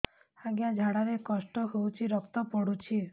ଅଜ୍ଞା ଝାଡା ରେ କଷ୍ଟ ହଉଚି ରକ୍ତ ପଡୁଛି